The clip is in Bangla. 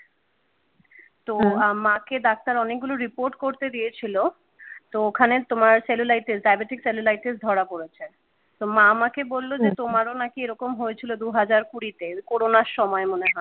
তোহম মাকে ডাক্তার অনেকগুলো রিপোর্ট করতে দিয়েছিল তো ওখানে তোমার cellulitis diabetic cellulitis ধরা পড়েছে তো মা আমাকে বলল হম যে তোমারও নাকি এরকম হয়েছিল দুহাজার কুড়িতে corona সময় মনে হয।